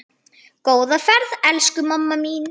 Góða ferð, elsku mamma mín.